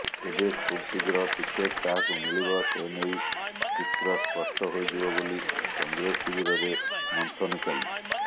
ତେବେ ଖୁବଶୀଘ୍ର ଟିକେଟ୍ କାହାକୁ ମିଳିବ ସେନେଇ ଚିତ୍ର ସ୍ପଷ୍ଟ ହୋଇଯିବ ବୋଲି କଂଗ୍ରେସ ଶିବିରରେ ମନ୍ଥନ ଚାଲିଛି